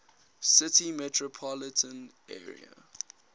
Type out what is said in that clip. city metropolitan area